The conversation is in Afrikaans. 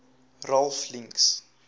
ralph links